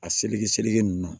A seleke seleke nunnu na